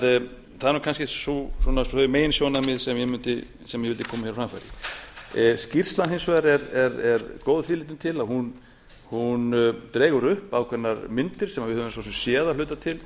það er kannski það meginsjónarmið sem ég vildi koma á framfæri skýrslan er hins vegar góð að því leytinu til að hún dregur upp ákveðnar myndir sem við höfum svo sem séð að hluta til